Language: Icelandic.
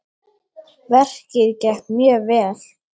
Verkið gekk mjög vel.